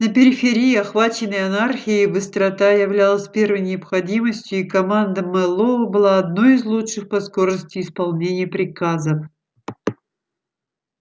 на периферии охваченной анархией быстрота являлась первой необходимостью и команда мэллоу была одной из лучших по скорости исполнения приказов